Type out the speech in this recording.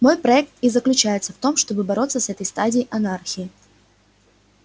мой проект и заключается в том чтобы бороться с этой стадией анархии